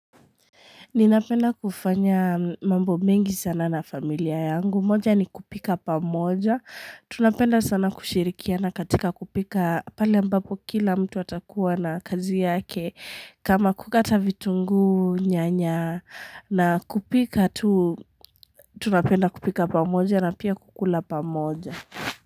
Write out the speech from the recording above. Ninapenda kufanya mambo mengi sana na familia yangu. Moja ni kupika pa moja. Tunapenda sana kushirikiana katika kupika pale ambapo kila mtu atakuwa na kazi yake. Kama kukata vitungu nyanya na kupika tu, tunapenda kupika pa moja na pia kukula pa moja.